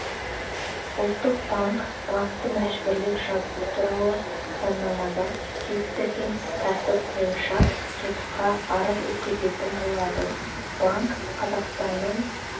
ұлттық банк банкті мәжбүрлеп жабу туралы заңнамада бекітілген тәртіп бойынша сотқа арыз өткізетін болады банк қазақстанның